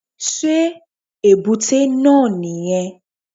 Sé èbúté náà nì yẹn